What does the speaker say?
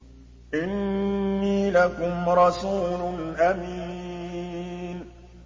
إِنِّي لَكُمْ رَسُولٌ أَمِينٌ